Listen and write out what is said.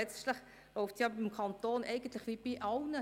Letztlich läuft es beim Kanton wie bei jedem zu Hause: